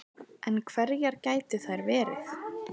En hverjar gætu þær verið